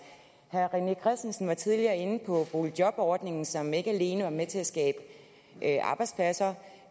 herre rené christensen var tidligere inde på boligjobordningen som ikke alene var med til at skabe arbejdspladser